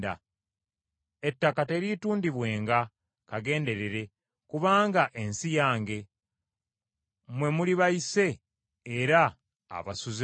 Ettaka teriitundibwenga kagenderere, kubanga ensi yange; mwe muli bayise era abasuze obusuze.